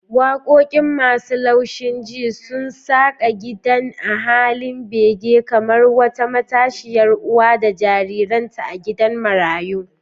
Wakoki masu laushinji sun saƙa gidan a halin bege kamar wata matashiya uwa da jariranta a gidan marayu.